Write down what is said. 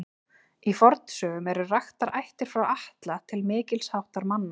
Í fornsögum eru raktar ættir frá Atla til mikils háttar manna.